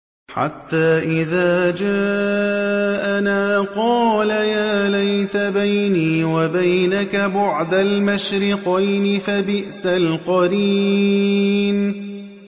حَتَّىٰ إِذَا جَاءَنَا قَالَ يَا لَيْتَ بَيْنِي وَبَيْنَكَ بُعْدَ الْمَشْرِقَيْنِ فَبِئْسَ الْقَرِينُ